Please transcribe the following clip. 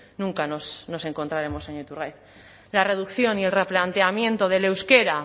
nunca nos encontraremos señor iturgaiz la reducción y el replanteamiento del euskera